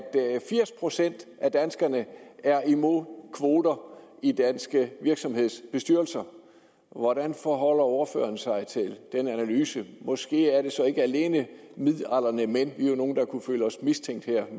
firs procent af danskerne er imod kvoter i danske virksomhedsbestyrelser hvordan forholder ordføreren sig til den analyse måske er det så ikke alene midaldrende mænd vi er jo nogle der kunne føle os mistænkt her